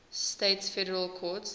states federal courts